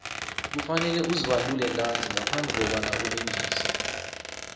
kufanele uzibandule ntanzi ngaphambi kobana ulingise